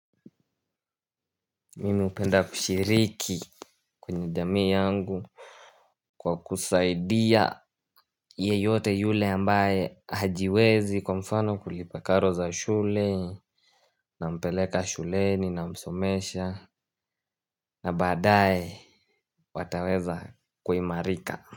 Mimi hupenda kushiriki. Kwenye jamii yangu. Kwa kusaidia yeyote yule ambaye hajiwezi kwa mfano kulipa karo za shule. Nampeleka shuleni namsomesha. Na baadae wataweza kuimarika.